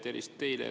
Tervist teile!